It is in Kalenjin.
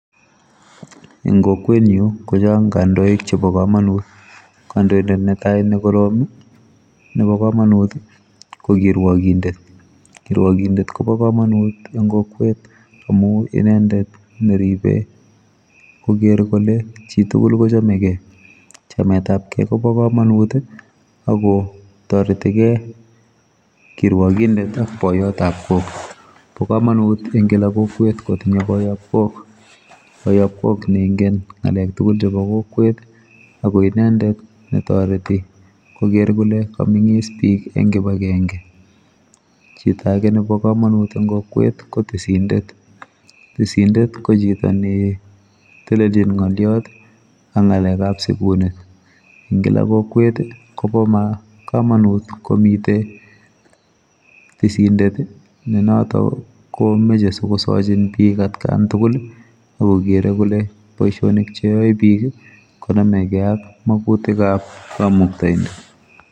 Eng kokwenyu kochang kandoik chebo kamonut kandoindet netai nekorom nebokomonut ko kikwakindet kirwakindet kobokomonut eng kokwet amu inendet neribe koker kole chitugul kochamegei chametabkei kobo kamanut akotoretigei kirwoginfet ak boiyotab kok bokomonut eng kila kokwet kotinye boyopkok. Boyopkok neingen ngalek tugul chebo kokwet akoinendet netoreti koker kole kamengis bik eng kibakenge chito age nebo komonut eng kokwet ko tisindet, Tisindet kochito neteliljin ngoliot ak ngalekab sikunet eng kila kokwet kobokamanut komite tisindet nenoto komeche sikosochin bik atkantugul akokere kole boisionik cheoe bik konomekei ak magutikab kamuktoindet.